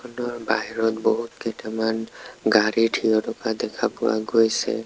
বাহিৰত বহুত কেইটামান গাড়ী থিয় থকা দেখা পোৱা গৈছে।